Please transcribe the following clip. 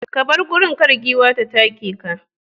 ka bar gurin, kar giwan ta take ka.